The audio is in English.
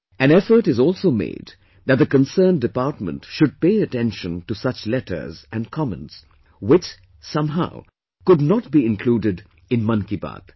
An effort is also made that the concerned department should pay attention to such letters and comments which, somehow, could not be included in Mann Ki Baat